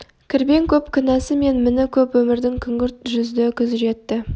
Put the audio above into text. кірбең көп кінәсы мен міні көп өмірдің күңгірт жүзді күз жетті